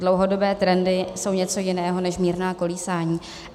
Dlouhodobé trendy jsou něco jiného než mírná kolísání.